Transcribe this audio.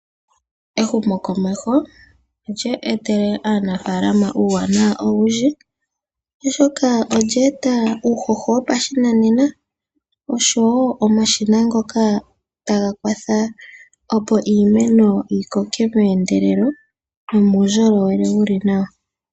Ehumokomeho olya etele aanafaalama uuwanawa owundji, oshoka olya eta uuhoho wopa shinanena, oshowo omashina ngoka taga kwatha opo iimeno yi koke meendelelo, nomuundjolowele wuli nawa.